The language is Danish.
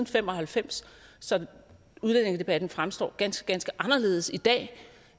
fem og halvfems så udlændingedebatten fremstår ganske ganske anderledes i dag